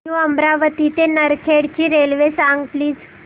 new Amravati ते नरखेड ची railway सांग प्लीज